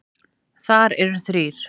Þar eru þrír